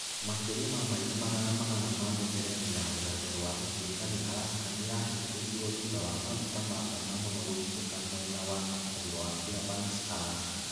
Makĩria ma maili magana manana ma mĩberethi ya rũgendo rwa gũtuĩkania Alaska nĩ yahingirũo thutha wa maguta ma bata mũno gũitĩka mwena wa mũhuro wa Fairbanks, Alaska.